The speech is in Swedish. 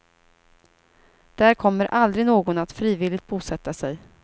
Där kommer aldrig någon att frivilligt bosätta sig.